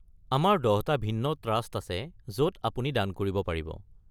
আমাৰ ১০টা ভিন্ন ট্ৰাষ্ট আছে য'ত আপুনি দান কৰিব পাৰিব।